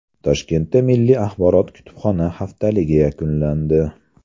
Toshkentda milliy axborot-kutubxona haftaligi yakunlandi.